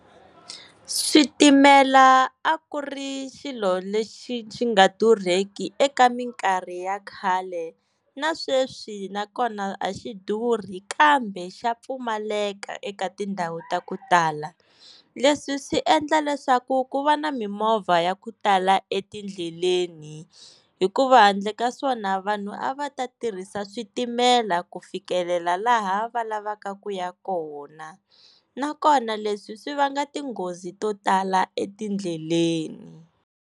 Switimela a ku ri xilo lexi xi nga durheki eka mikarhi ya khale na sweswi nakona a xi durhi kambe xa pfumaleka eka tindhawu ta ku tala leswi swi endla leswaku ku va na mimovha ya ku tala etindleleni hikuva handle ka swona vanhu a va ta tirhisa switimela ku fikelela laha va lavaka ku ya kona nakona leswi swi vanga tinghozi to tala etindleleni.